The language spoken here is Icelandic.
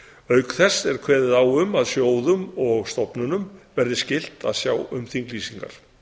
auk þess er kveðið á um að sjóðum og stofnunum verði skylt að sjá um þinglýsingar